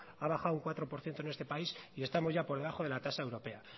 ha bajado un cuatro por ciento en este país y estamos ya por debajo de la tasa europea